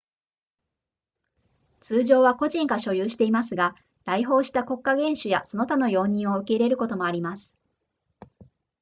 通常は個人が所有していますが来訪した国家元首やその他の要人を受け入れることもあります